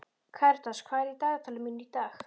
Karitas, hvað er í dagatalinu mínu í dag?